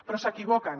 però s’equivoquen